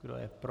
Kdo je pro?